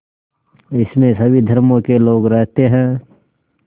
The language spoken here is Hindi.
इसमें सभी धर्मों के लोग रहते हैं